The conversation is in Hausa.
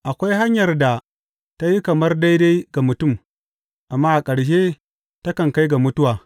Akwai hanyar da ta yi kamar daidai ga mutum, amma a ƙarshe takan kai ga mutuwa.